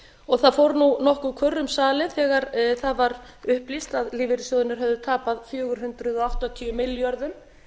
og það fór nokkur kurr um salinn þegar það var upplýst að lífeyrissjóðirnir hefðu tapað fjögur hundruð áttatíu milljörðum